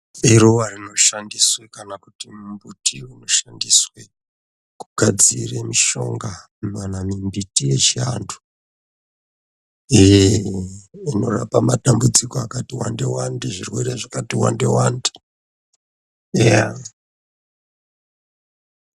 Iruva rinoshandiswe kana kuti mumbuti inoshandiswe kugadzire mishonga kana mimbiti yechiantu eh, inorapa matambudziko akati wande-wande, zvirwere zvakati wande-wande eya.